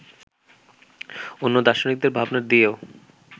অন্য দার্শনিকদের ভাবনা দিয়েও